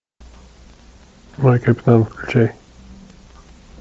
мой капитан включай